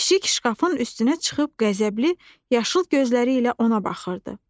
Pişik şkafın üstünə çıxıb qəzəbli, yaşıl gözləri ilə ona baxırdı.